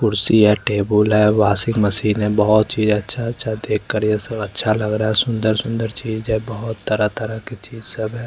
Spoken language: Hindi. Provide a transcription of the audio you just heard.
कुर्सी है टेबुल है वाशिंग मशीन है बहुत चीज अच्छा अच्छा देखकर यह सब अच्छा लग रहा है सुंदर सुंदर चीज है बहुत तरह तरह की चीज सब है।